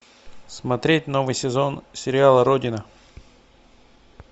смотреть новый сезон сериала родина